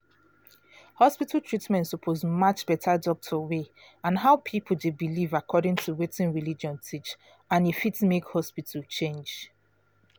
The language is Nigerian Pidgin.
hospital treatment suppose match better doctor way and how people dey believe according to wetin religion teach and e fit make hospital change